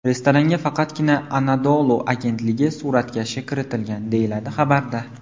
Restoranga faqatgina Anadolu agentligi suratkashi kiritilgan”, deyiladi xabarda.